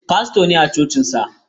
Fasto ne a cocinsa.